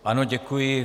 Ano, děkuji.